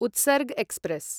Utsarg express